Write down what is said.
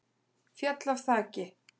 Féll af þaki